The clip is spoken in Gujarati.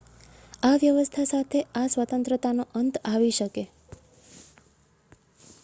આ વ્યવસ્થા સાથે આ સ્વતંત્રતાનો અંત આવી શકે